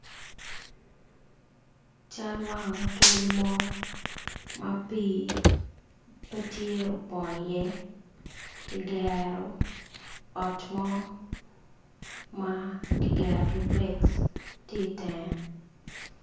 Cal wang otul mo ma pi pe tye opongo iye kigero ot mo ma ki gero kibrik tye i tenge